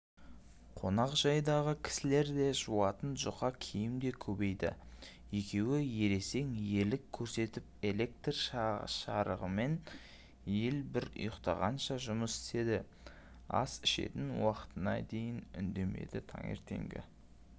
қонақ жайдағы кісілер де жуатын жұқа киім де көбейді екеуі ересен ерлік көрсетіп электр жарығымен ел бір ұйықтағанша жұмыс істеді ас ішетін уақытына дейін үндемеді таңертеңгі